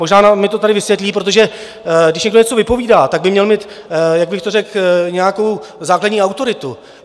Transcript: Možná mi to tady vysvětlí, protože když někdo něco vypovídá, tak by měl mít - jak bych to řekl? - nějakou základní autoritu.